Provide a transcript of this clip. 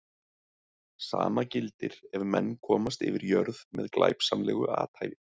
Sama gildir ef menn komast yfir jörð með glæpsamlegu athæfi.